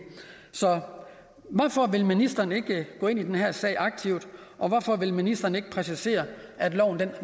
så hvorfor vil ministeren ikke gå aktivt ind i den her sag og hvorfor vil ministeren ikke præcisere at loven